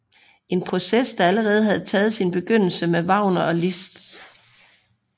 En proces der allerede havde taget sin begyndelse med Wagner og Liszt